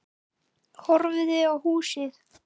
Horfði á húsið.